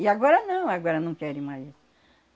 E agora não, agora não querem mais.